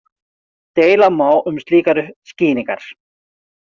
Deila má um slíkar skýringar.